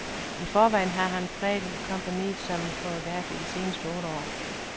I forvejen har han præget kompagniet som koreograf i de seneste otte år.